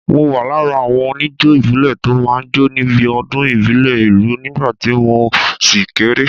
Mo wà lára àwọn oníjó ìbílẹ̀ tó máa ń jó níbi ọdún ìbílẹ̀ ìlú nígbà tí mo ṣì kéré.